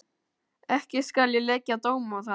Ekki skal ég leggja dóm á það.